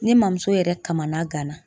Ne mamuso yɛrɛ kamana gana.